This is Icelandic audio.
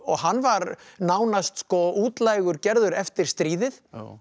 hann var nánast útlægur gerður eftir stríðið